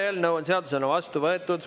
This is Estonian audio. Eelnõu on seadusena vastu võetud.